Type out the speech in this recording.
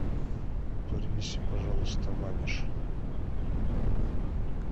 принеси пожалуйста ваниш